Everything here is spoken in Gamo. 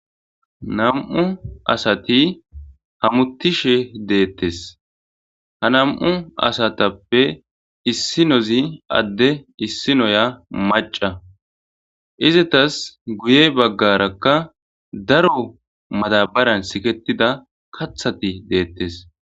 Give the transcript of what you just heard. Na'mu asati hamutishe detees ha na'mu asatuppe isinoza ade isiniya mac'a izatas guye bagaraka daro badabaran siketiza katati detees